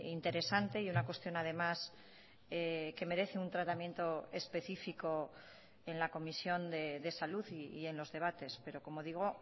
interesante y una cuestión además que merece un tratamiento específico en la comisión de salud y en los debates pero como digo